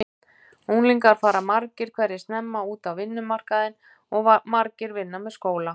Unglingar fara margir hverjir snemma út á vinnumarkaðinn og margir vinna með skóla.